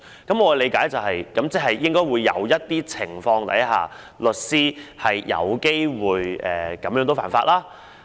"我的理解是，在某些情況下，律師有機會犯法。